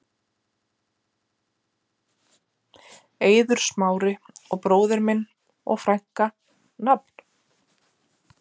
Eiður Smári og bróðir minn og frænka Nafn?